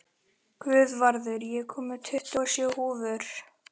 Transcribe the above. Guðvarður, ég kom með tuttugu og sjö húfur!